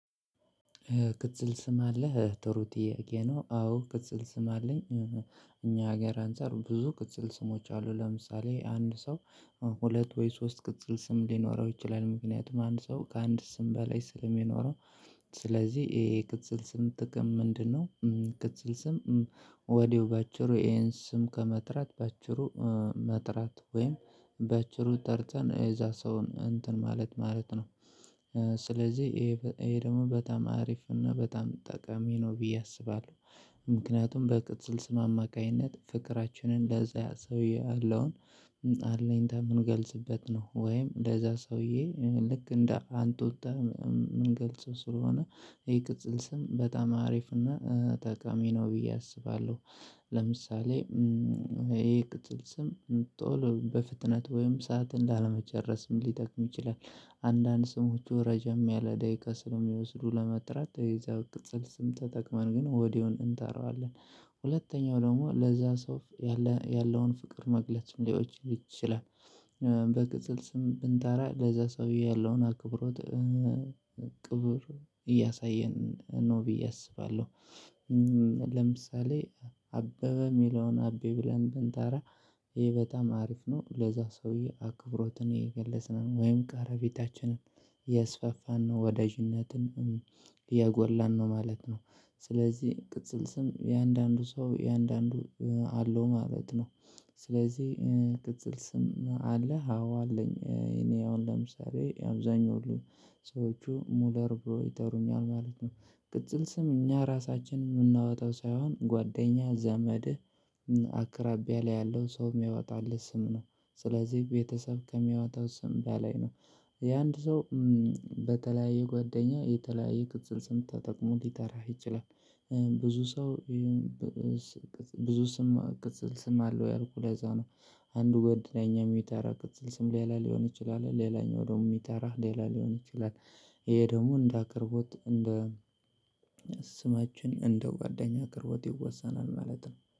ቅጽል ስም አለህ ጥሩ ጥያቄ ነው? አዎ ቅጽል ስም አለኝ። እኛ ሀገር አንፃር ብዙ ቅጽል ስሞች አሉ። ለምሳሌ አንድ ሰው ሁለት ወይ ሶስት ቅጽል ስም ሊኖረው ይችላል። ምክንያቱም አንድ ሰው ከአንድ ስም በላይ ስለሚኖረው ስለዚህ ይሄ የቅጽል ስም ጥቅም ምንድነው? ቅጽል ስም ወዲያው በአጭሩ ይሄን ስም ከመጥራት በአጭሩ መጥራት ወይም በአጭሩ ጠርተን የዛ ሰውን እንትን ማለት ማለት ነው። ስለዚህ ይሄ ደግሞ በጣም አሪፍ እና በጣም ጠቃሚ ነው ብዬ አስባለሁ። ምክንያቱም በቅጽል ስም አማካኝነት ፍቅራችንን ለዛ ሰውዬ ያለውን አለኝታ የምንገልጽበት ነው። ወይም ለዛ ሰውዬ ልክ እንደ አንቱታ የምንገልጸው ስለሆነ ይሄ ቅጽል ስም በጣም አሪፍና ተቃሚ ነው ብዬ አስባለሁ። ለምሳሌ ይሄ ቅጽል ስም ቶል በፍጥነት ወይም ሰዓት እንዳለመጨረስም ሊጠቅም ይችላል። አንዳንድ ስሞቹ ረጅም ያለ ደቂቃ ስለሚወስዱ ለመጥራት የዚያው ቅጽል ስም ተጠቅመን ግን ወዲያውኑ እንጠራዋለን። ሁለተኛው ደግሞ ለዛ ሰው ያለውን ፍቅር መግለጽ ሊሆን ይችላል። በቅጽል ስም ብንጠራ ለዛ ሰውዬ ያለውን አክብሮት ክብር እያሳየን ነው ብዬ አስባለሁ። ለምሳሌ አበበ ሚለውን አቤ ብለን ብንጠራ ይሄ በጣም አሪፍ ነው ለዛ ሰውዬ አክብሮትን እየገለጽን ወይም ቀረ ቤታችንን እያስፋፋን ነው ወዳጅነትን እያጎላን ነው ማለት ነው። ስለዚህ ቅጽል ስም እያንዳንዱ ሰው እያንዳንዱ አለው ማለት ነው። ስለዚህ ቅጽል ስም አለ አዎ አለኝ እኔ አሁን ለምሳሌ አብዛኛው ሰዎቹ ሙለር ብሮ ይጠሩኛል ማለት ነው። ቅጽል ስም እኛ ራሳችን የምናወጣው ሳይሆን ጓደኛ ዘመድ አቅራቢያ ላይ ያለው ሰው የሚያወጣልህ ስም ነው። ስለዚህ ቤተሰብ ከሚያወጣው ስም በላይ ነው። የአንድ ሰው በተለያየ ጓደኛ የተለያየ ቅጽል ስም ተጠቅሞ ሊጠራህ ይችላል። ብዙ ሰው ብዙ ስም ቅጽል ስም አለው ያልኩህ ለዛ ነው። አንዱ ጓደኛ እኛን የሚጠራበት ቅጽል ስም ሌላ ሊሆን ይችላል ሌላኛው ደግሞ የሚጠራ ሌላ ሊሆን ይችላል። ይሄ ደግሞ እንደ አቅርቦት እንደ ስማችን እንደ ጓደኛ አቅርቦት ይወሰናል ማለት ነው